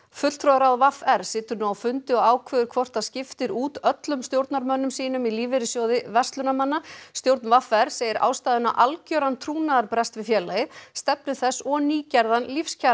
fulltrúaráð v r situr nú á fundi og ákveður hvort það skiptir út öllum stjórnarmönnum sínum í Lífeyrissjóði verslunarmanna stjórn v r segir ástæðuna algjöran trúnaðarbrest við félagið stefnu þess og nýgerðan